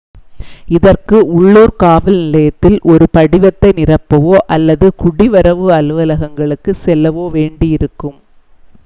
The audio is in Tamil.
இதற்கு உள்ளூர் காவல் நிலையத்தில் ஒரு படிவத்தை நிரப்பவோ அல்லது குடிவரவு அலுவலகங்களுக்குச் செல்லவோ வேண்டி இருக்கும்